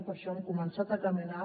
per això hem començat a caminar